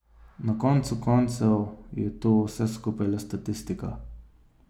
Na koncu koncev je to vse skupaj le statistika.